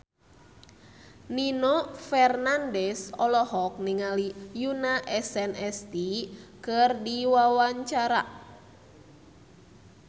Nino Fernandez olohok ningali Yoona SNSD keur diwawancara